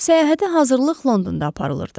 Səyahətə hazırlıq Londonda aparılırdı.